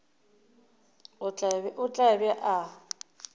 o tla be a ba